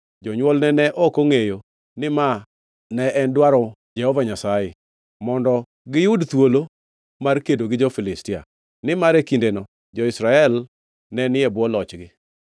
Jonywolne ne ok ongʼeyo ni ma en dwaro Jehova Nyasaye, mondo omi giyud thuolo mar kedo gi jo-Filistia; nimar e kindeno jo-Israel ne ni e bwo lochgi.